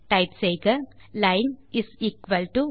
type செய்க line is equal to